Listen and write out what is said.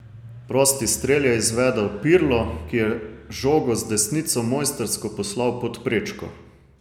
Prosti strel je izvedel Pirlo, ki je žogo z desnico mojstrsko poslal pod prečko.